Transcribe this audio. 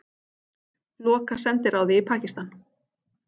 Loka sendiráði í Pakistan